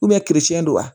don wa